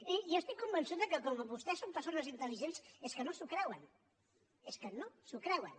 i jo estic convençut que com vostès són persones intel·ligents és que no s’ho creuen és que no s’ho creuen